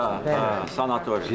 Pirağada, sanatoriya.